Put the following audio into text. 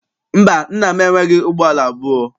Mba, nna m enweghị ụgbọala abụọ.